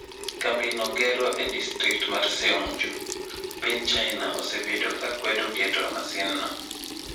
Kambi no gero e distrikt mar Seongju, piny China osebedo ka kwedo keto masinno.